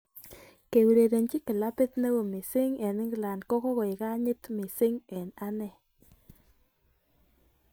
Keurerenchi kilabit neo missing eng England ko kokoek kanyit missing eng' ane